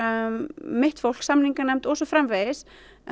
mitt fólk samninganefnd og svo framvegis